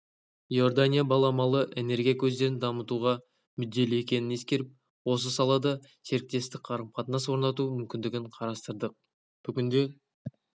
иорданияның баламалы энергия көздерін дамытуға мүдделі екенін ескеріп осы салада серіктестік қарым-қатынас орнату мүмкіндігін қарастырдық бүгінде